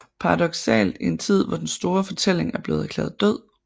Paradoksalt i en tid hvor den store fortælling er blevet erklæret død